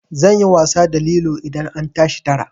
Zan yi wasa da lilo idan an tashi tara.